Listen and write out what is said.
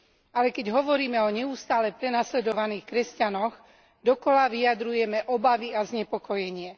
Ale keď hovoríme o neustále prenasledovaných kresťanoch, dookola vyjadrujeme obavy a znepokojenie.